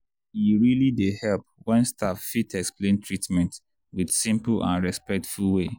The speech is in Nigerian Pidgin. e really dey help when staff fit explain treatment with simple and respectful way.